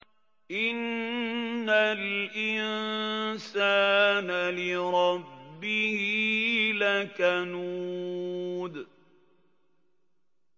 إِنَّ الْإِنسَانَ لِرَبِّهِ لَكَنُودٌ